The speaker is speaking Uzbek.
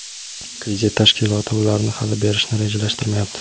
kredit tashkiloti ularni hali berishni rejalashtirmayapti.